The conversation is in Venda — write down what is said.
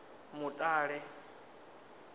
mutale